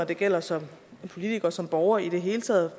det gælder som politiker og som borger i det hele taget